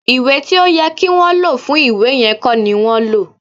Ìwé tí ó yẹ kí wọn lò fún ìwé yẹn kọ́ ni wọ́n lò